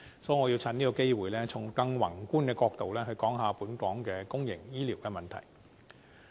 所以，我想藉此機會，從更宏觀的角度討論本港公營醫療問題。